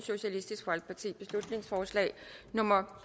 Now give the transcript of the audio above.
beslutningsforslag nummer